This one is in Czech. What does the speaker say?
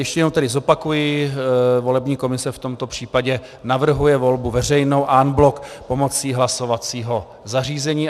Ještě jednou tedy zopakuji, volební komise v tomto případě navrhuje volbu veřejnou en bloc pomocí hlasovacího zařízení.